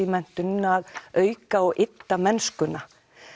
menntun að auka og ydda mennskuna